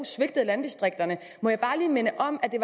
svigtede landdistrikterne må jeg bare lige minde om at det